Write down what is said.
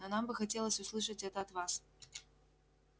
но нам бы хотелось услышать это от вас